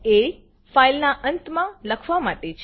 એ - ફાઈલના અંત માં લખવા માટે છે